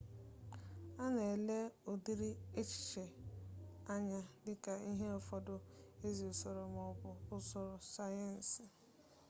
a na-ele ụdịrị echiche a anya dịka ihe ụfọdụ ezi usoro maọbụ usoro sayensị